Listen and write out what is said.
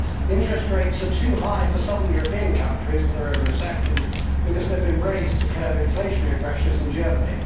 Interest rates are too high for southern European countries that are in recession, because they have been raised to curb inflationary pressures in Germany.